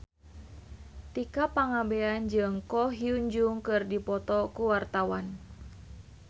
Tika Pangabean jeung Ko Hyun Jung keur dipoto ku wartawan